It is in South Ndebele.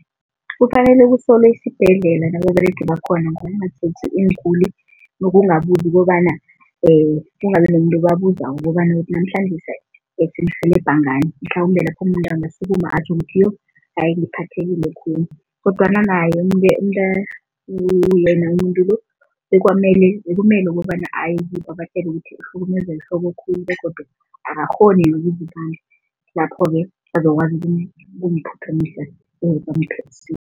Kufanele kusolwe isibhedlela nababeregi bakhona ngokungatjheji iinguli, nokungabuzi kobana kungabi nomuntu obabuzako ukobana ukuthi namhlanje sinirhelebha ngani, mhlawumbe lapho umuntu angasukuma atjho ukuthi yo hayi ngiphathekile khulu kodwana yena umuntu lo bekumele ukobana aye kibo abatjele ukuthi uhlukumezwa yihloko khulu begodu akakghoni lapho-ke bazokwazi ukumphuthumisa